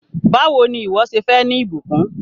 Báwò ni ìwọ́ ṣe fẹ́ ní ìbùkún?